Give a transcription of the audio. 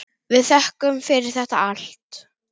Við þökkum fyrir þetta allt.